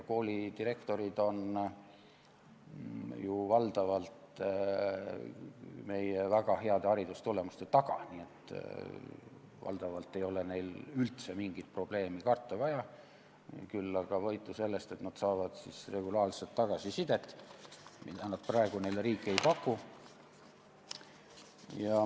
Koolidirektorid on ju meie väga heade haridustulemuste taga, nii et valdavalt ei ole neil üldse mingit probleemi karta vaja, küll aga saavad nad võitu, sest nad saavad regulaarselt tagasisidet, mida praegu riik neile ei paku.